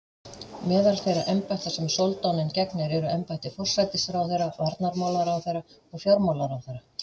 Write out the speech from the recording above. Meðal þeirra embætta sem soldáninn gegnir eru embætti forsætisráðherra, varnarmálaráðherra og fjármálaráðherra.